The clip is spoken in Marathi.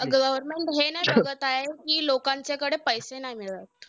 अं government हे नाय बघत आहे, कि लोकांच्याकडे पैसे नाय मिळतं.